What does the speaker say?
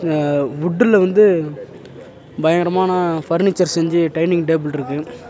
அ உட்டுல வந்து பயங்கரமான ஃபர்னிச்சர் செஞ்சு டைனிங் டேபிள்ட்ருக்கு .